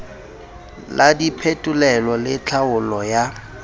la diphetolelo le tlhaolo ya